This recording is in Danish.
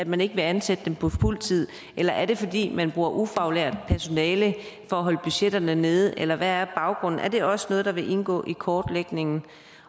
man ikke vil ansætte dem på fuldtid eller er det fordi man bruger ufaglært personale for at holde budgetterne nede eller hvad er baggrunden er det også noget der vil indgå i kortlægningen